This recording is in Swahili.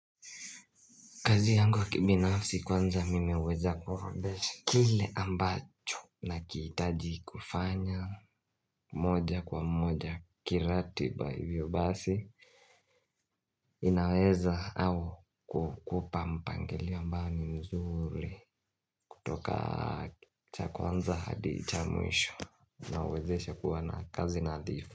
Kazi yangu ya kibinafsi kwanza nimeweza kuorodhesha kile ambacho nakihitaji kufanya moja kwa moja kiratiba ivyo basi inaweza au kukupa mpangilio ambao ni mzuri kutoka cha kwanza hadi cha mwisho na huwezesha kuwa na kazi nadhifu.